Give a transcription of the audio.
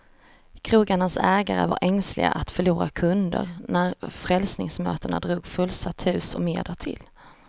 Krogarnas ägare var ängsliga att förlora kunder, när frälsningsmötena drog fullsatt hus och mer därtill.